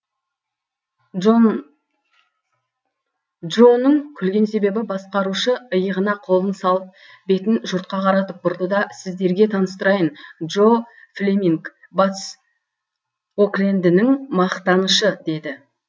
джоның күлген себебі басқарушы иығына қолын салып бетін жұртқа қаратып бұрды да сіздерге таныстырайын джо флеминг батыс оклендінің мақтанышы деді